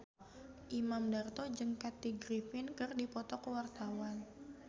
Imam Darto jeung Kathy Griffin keur dipoto ku wartawan